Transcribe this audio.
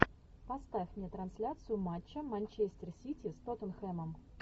поставь мне трансляцию матча манчестер сити с тоттенхэмом